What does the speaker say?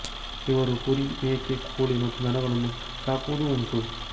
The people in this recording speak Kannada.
ಇವರು ಕುರಿ ಮೇಕೆ ಕೋಳಿ ಮತ್ತು ದನಗಳನ್ನು ಸಾಕುವುದೂ ಉಂಟು